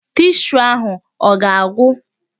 Tishuu ahụ ọ ga-agwụ?